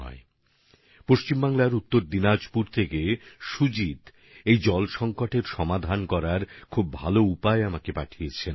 জল সংকট সমাধানের জন্য পশ্চিমবঙ্গের উত্তর দিনাজপুরের সুজিতজি আমাকে খুবই ভালো বার্তা পাঠিয়েছেন